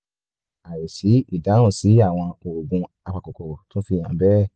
àìsí ìdáhùn sí àwọn oògùn apakòkòrò tún fi hàn bẹ́ẹ̀